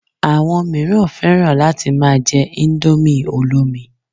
Àwọn míràn fẹ́ràn láti ma jẹ indomie olómi